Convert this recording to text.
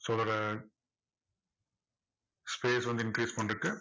சொல்லற space வந்து increase பண்ணியிருக்கேன்.